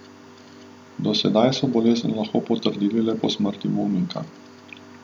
Do sedaj so bolezen lahko potrdili le po smrti bolnika.